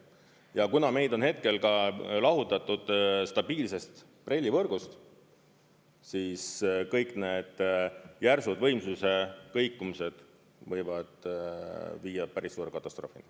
Ja kuna meid on hetkel ka lahutatud stabiilsest BRELL-i võrgust, siis kõik need järsud võimsuse kõikumised võivad viia päris suure katastroofini.